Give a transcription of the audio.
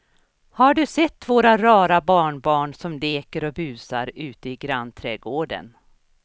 Har du sett våra rara barnbarn som leker och busar ute i grannträdgården!